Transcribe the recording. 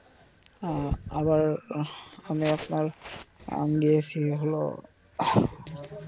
হ্যা আবার আমি আপনার আহ গিয়েসি হলো.